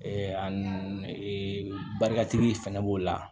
barikatigi fɛnɛ b'o la